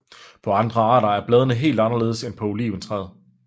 På andre arter er bladende helt anderledes end på oliventræet